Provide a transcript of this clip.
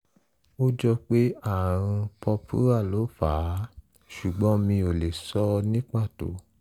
ó jọ pé ààrùn purpura ló fà á ṣùgbón mi ò lè sọ ní pàtó